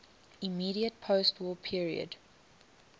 immediate postwar period